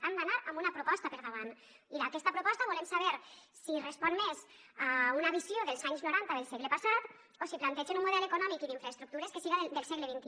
han d’anar amb una proposta per davant i aquesta proposta volem saber si respon més a una visió dels anys noranta del segle passat o si plantegen un model econòmic i d’infraestructures que siga del segle xxi